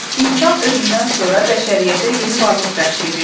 İnsan özündən sonra bəşəriyyətə yeni varlıq bəxş edir.